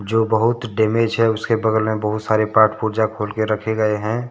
जो बहुत डैमेज हैं उसके बगल में बहुत सारे पार्ट पुर्जा खोल के रखे गए हैं।